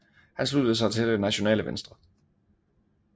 Han sluttede sig til Det Nationale Venstre